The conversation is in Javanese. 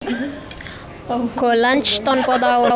Gollancz tanpa taun